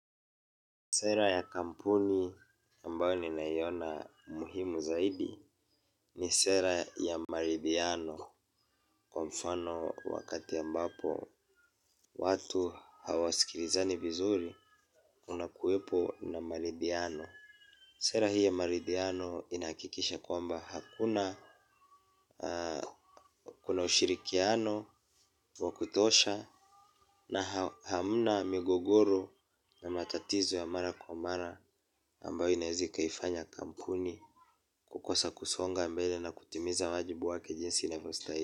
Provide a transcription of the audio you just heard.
Sera ya kampuni ambayo ninaiona muhimu zaidi ni sera ya maridhiano. Kwa mfano wakati ambapo watu hawasikilizani vizuri kunakuwepo na maridhiano. Sera hii ya maridiano inahakikisha kwamba kuna ushirikiano wa kutosha na hamna migogoro na matatizo ya mara kwa mara ambayo inaweza ikaifanya kampuni. Kukosa kusonga mbele na kutimiza wajibu wake jinsi inavyostahili.